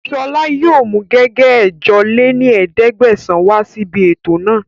Sọla yìí ó mú gègé ẹ̀jọ lé ní ẹ̀ẹ́dẹ́gbẹ́sán wá sí ibi ètò náà